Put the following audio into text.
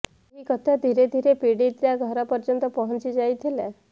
ଏହି କଥା ଧୀରେ ଧୀରେ ପୀଡିତା ଘର ପର୍ଯ୍ୟନ୍ତ ପହଞ୍ଚି ଯାଇଥିଲା